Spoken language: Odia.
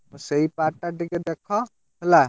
ସେଇ part ଟା ଟିକେ ଦେଖ ହେଲା।